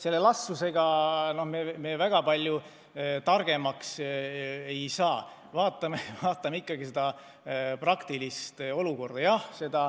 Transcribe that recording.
Selle elastsusega me väga palju targemaks ei saa, vaatame ikkagi reaalset olukorda.